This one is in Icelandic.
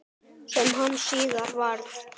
Sem hann síðar varð.